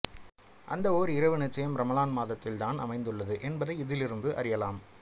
அந்த ஓர் இரவு நிச்சயம் ரமளான் மாதத்தில் தான் அமைந்துள்ளது என்பதை இதிலிருந்து அறியலாம்